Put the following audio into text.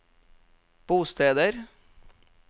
bosteder